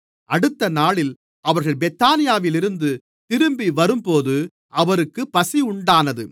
அடுத்தநாளில் அவர்கள் பெத்தானியாவிலிருந்து திரும்பிவரும்போது அவருக்குப் பசியுண்டானது